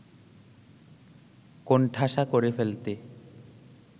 কোণঠাসা করে ফেলতে